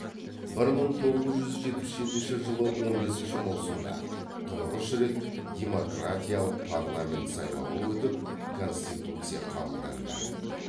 бір мың тоғыз жүз жетпіс жетінші жылы он бесінші маусымда тұңғыш рет демократиялық парламент сайлауы өтіп конституция қабылданды